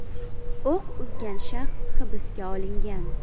O‘q uzgan shaxs hibsga olingan.